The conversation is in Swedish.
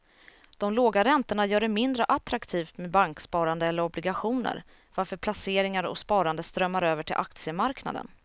De låga räntorna gör det mindre attraktivt med banksparande eller obligationer varför placeringar och sparande strömmar över till aktiemarknaden.